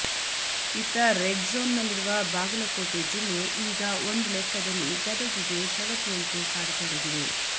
ಇತ್ತ ರೆಡ್ ಝೋನ್ನಲ್ಲಿರುವ ಬಾಗಲಕೋಟೆ ಜಿಲ್ಲೆ ಈಗ ಒಂದು ಲೆಕ್ಕದಲ್ಲಿ ಗದಗಿಗೆ ಸವತಿಯಂತೆ ಕಾಡತೊಡಗಿದೆ